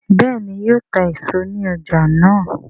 béèni yíò tá èso ní ọjà náa?